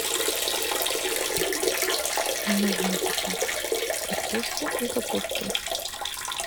нужно купить картошку и капусту